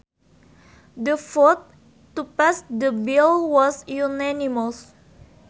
The vote to pass the bill was unanimous